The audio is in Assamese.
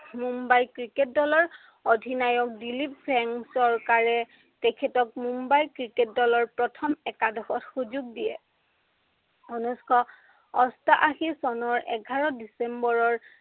মুম্বাই ক্ৰিকেট দলৰ অধিনায়ক দিলীপ সেন সৰকাৰে তেখেতক মুম্বাই ক্ৰিকেট দলৰ প্ৰথম একাদশত সুযোগ দিয়ে। উনৈছশ অষ্টাশী চনৰ এঘাৰ ডিচেম্বৰৰ